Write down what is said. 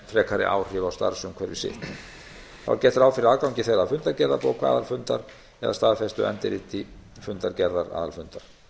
frekari áhrif á starfsumhverfi sitt þá er gert ráð fyrir að gangi þeirra að fundargerðabók aðalfundar eða staðfestu endurriti fundargerðar aðalfundar